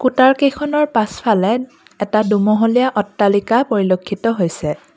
কুতাৰ কেইখনৰ পাছফালে এটা দুমহলীয়া অট্টালিকা পৰিলক্ষিত হৈছে।